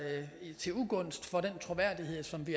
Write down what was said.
til ugunst for den troværdighed som vi